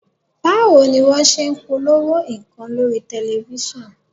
Báwo ni wọ́n ṣe ń polówó nǹkan lórí tẹ̀lifísàn?